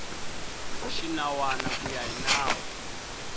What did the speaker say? xinawana ku ya hi nawu